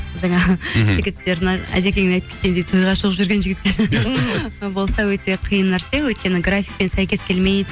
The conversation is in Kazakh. жігіттердің әдекең айтап кеткендей тойға шығып жүрген жігіттер болса өте қиын нәрсе өйткені графикпен сәйкес келмейді